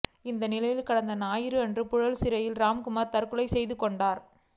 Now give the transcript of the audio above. இந்நிலையில் கடந்த ஞாயிறன்று புழல் சிறையில் ராம்குமார் தற்கொலை செய்து கொண்டார்